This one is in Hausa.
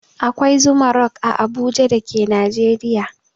Akwai Zuma rock a Abuja da ke Najeriya.